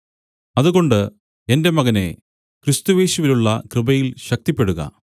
അതുകൊണ്ട് എന്റെ മകനേ ക്രിസ്തുയേശുവിലുള്ള കൃപയിൽ ശക്തിപ്പെടുക